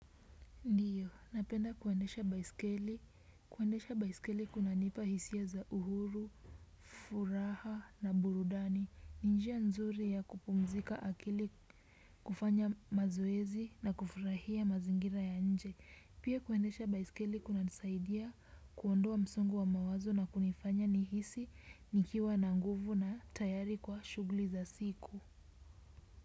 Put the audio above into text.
Ndio, napenda kuendesha baiskeli. Kuendesha baiskeli kunanipa hisia za uhuru, furaha na burudani. Ni njia nzuri ya kupumzika akili, kufanya mazoezi na kufurahia mazingira ya nje. Pia kuendesha baiskeli kunanisaidia kuondoa msongo wa mawazo na kunifanya nihisi nikiwa na nguvu na tayari kwa shughli za siku.